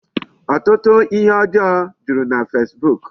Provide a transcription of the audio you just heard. Ọtụtụ ihe ọjọọ juru na Facebook.